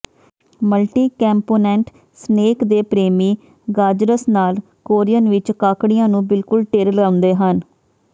multicomponent snack ਦੇ ਪ੍ਰੇਮੀ ਗਾਜਰਸ ਨਾਲ ਕੋਰੀਅਨ ਵਿਚ ਕਾਕੜੀਆਂ ਨੂੰ ਬਿਲਕੁਲ ਢੇਰ ਲਾਉਂਦੇ ਹਨ